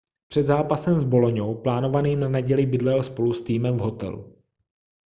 před zápasem s boloňou plánovaným na neděli bydlel spolu s týmem v hotelu